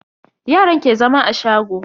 Yaran ke zama a shago.